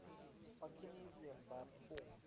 anarchism by form